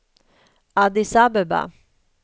Addis Abeba